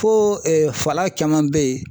Ko fala caman be yen.